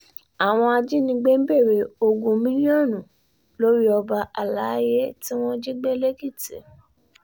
àwọn ajínigbé ń béèrè ogún mílíọ̀nù lórí ọba àlàyé tí wọ́n jí gbé lẹ́kìtì